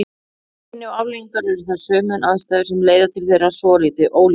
Einkenni og afleiðingar eru þær sömu en aðstæður sem leiða til þeirra svolítið ólíkar.